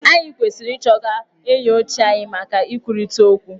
Anyị kwesiri ị chọga enyi ochie anyị maka ikwurịta ọkwu.